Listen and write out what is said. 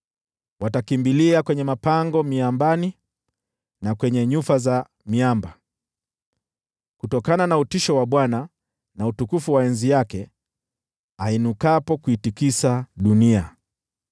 Watakimbilia kwenye mapango miambani na kwenye nyufa za miamba kutokana na utisho wa Bwana na utukufu wa enzi yake, ainukapo kuitikisa dunia.